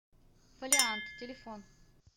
фолиант телефон